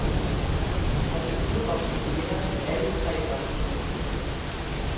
Han blev udråbt som vinder med alle tre dommerstemmer.